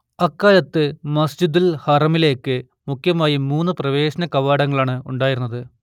അക്കാലത്തു മസ്ജിദുൽ ഹറമിലേക്ക് മുഖ്യമായും മൂന്നു പ്രവേശന കവാടങ്ങളാണ് ഉണ്ടായിരുന്നത്